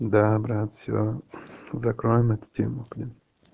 да брат все закроем эту тему блин